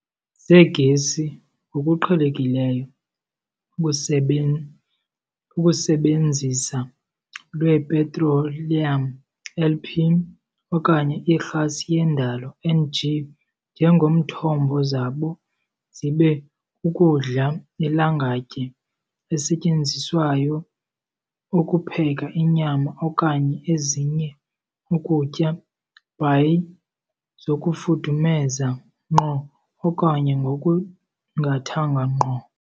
Zegesi ngokuqhelekileyo ukusebenzisa lwepetroliyam, LP, okanye irhasi yendalo, NG, njengomthombo zabo zibe kukudla lilangatye esetyenziswayo ukupheka inyama okanye ezinye ukutya by zokufudumeza ngqo okanye ngokungathanga ngqo.